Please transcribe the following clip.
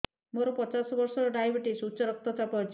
ମୋର ପଚାଶ ବର୍ଷ ଡାଏବେଟିସ ଉଚ୍ଚ ରକ୍ତ ଚାପ ଅଛି